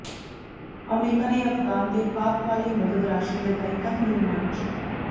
America ਨੇ ਅਫਗਾਨ ਤੇ ਪਾਕਿ ਵਾਲੀ ਮਦਦ ਰਾਸ਼ੀ ਲਗਾਈ ਕੰਧ ਨਿਰਮਾਣ ਚ